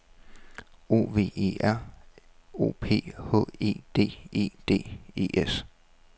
O V E R O P H E D E D E S